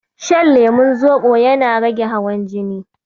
Shan lemon Zoɓo yana rage hawan jini.